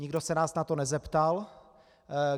Nikdo se nás na to nezeptal.